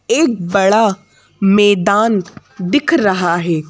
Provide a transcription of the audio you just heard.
एक बड़ा मैदान दिख रहा है।